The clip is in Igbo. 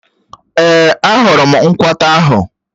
Èé, a hụrụ m nkwata ahụ.